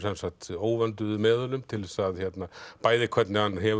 óvönduðu meðulum til þess bæði hvernig hann hefur